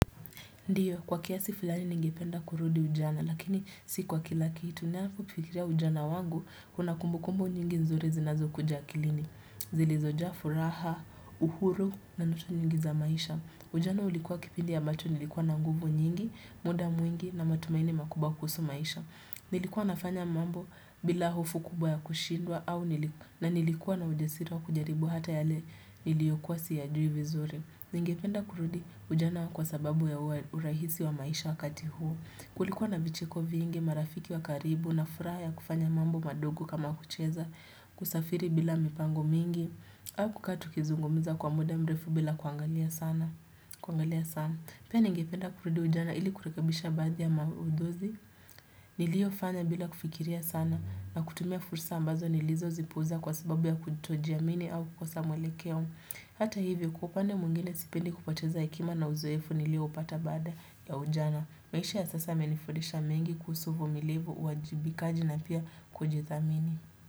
Ndiyo, kwa kiasi fulani ningependa kurudi ujana, lakini si kwa kila kitu. Ninapofikiria ujana wangu, kuna kumbukumbu nyingi nzuri zinazokuja akilini. Zilizojaa furaha, uhuru na ndoto nyingi za maisha. Ujana ulikuwa kipindi ambacho nilikuwa na nguvu nyingi, muda mwingi na matumaini makubwa kuhusu maisha. Nilikuwa nafanya mambo bila hofu kubwa ya kushindwa na nilikuwa na ujasiri wa kujaribu hata yale niliyokuwa siyajui vizuri. Ningependa kurudi ujana kwa sababu ya urahisi wa maisha wakati huo. Kulikuwa na vicheko vingi marafiki wa karibu na furaha ya kufanya mambo madogo kama kucheza kusafiri bila mipango mingi. Au kukaa tukizungumza kwa muda mrefu bila kuangalia sana. Pia ningependa kurudi ujana ili kurekebisha baadhi maudhui. Niliyofanya bila kufikiria sana na kutumia fursa ambazo nilizozipuuza kwa sababu ya kutojiamini au kukosa mwelekeo. Hata hivyo kwa upande mwingine sipendi kupoteza hekima na uzoefu nilioupata baada ya ujana. Maisha ya sasa yamenifundisha mengi kuhusu uvumilivu uwajibikaji na pia kujithamini.